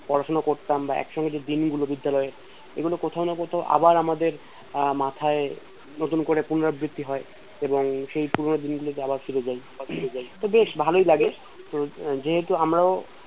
পড়াশোনা করতাম বা একসঙ্গে যে দিনগুলো বিদ্যালয়ে এগুলো কোথাও না কোথাও আবার আমাদের আহ মাথায় নতুন পুনরায় বৃত্তি হয় এবং সেই পুরোনো দিন গুলোতে আবার ফিরে যাই বা ফির যায় তো বেশ ভালই লাগে